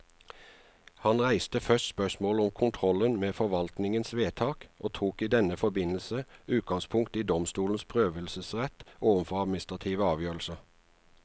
Han reiste først spørsmålet om kontrollen med forvaltningens vedtak, og tok i denne forbindelse utgangspunkt i domstolenes prøvelsesrett overfor administrative avgjørelser.